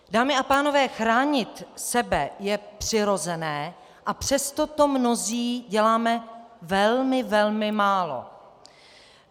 Dámy a pánové, chránit sebe je přirozené, a přesto to mnozí děláme velmi, velmi málo.